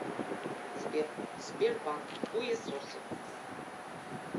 сбер сбербанк хуесосы